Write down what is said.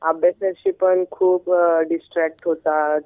अभ्यासाशी पण खूप डिस्ट्रक्ट होतात.